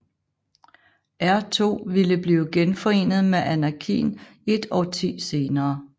R2 ville blive genforenet med Anakin et årti senere